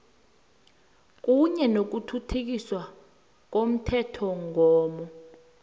kunye nokuthuthukiswa komthethomgomo